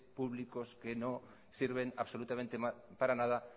públicos que no sirven absolutamente para nada